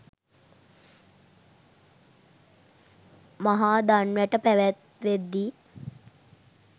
මහා දන් වැට පැවැත්වෙද්දී